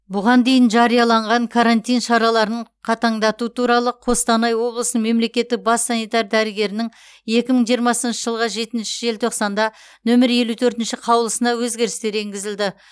бұған дейін жарияланған карантин шараларын қатаңдату туралы қостанай облысының мемлекеттік бас санитар дәрігерінің екі мың жиырмасыншы жылғы жетінші желтоқсанда нөмір елу төртінші қаулысына өзгерістер енгізілді